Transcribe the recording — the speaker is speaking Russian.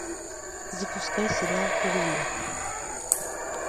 запускай сериал луи